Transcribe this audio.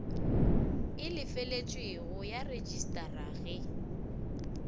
e lefeletšwego ya rejistara ge